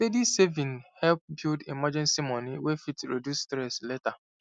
steady saving help build emergency moni wey fit reduce stress later